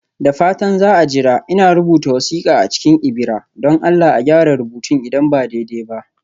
Da fatan za a jira, ina rubuta wasiƙa a cikin ibira (don Allah a gyara rubutun idan ba daidai ba)